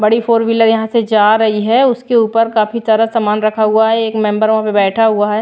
बड़ी four wheeler यहां से जा रही है उसके ऊपर काफी सारा सामान रखा हुआ है एक मेंबर वहां पर बैठा हुआ है।